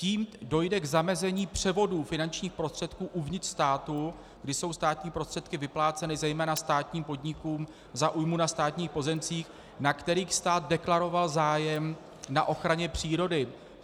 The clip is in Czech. Tím dojde k zamezení převodu finančních prostředků uvnitř státu, kdy jsou státní prostředky vypláceny zejména státním podnikům za újmu na státních pozemcích, na kterých stát deklaroval zájem na ochraně přírody.